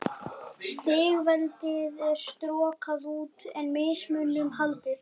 Stigveldið er strokað út, en mismuninum haldið.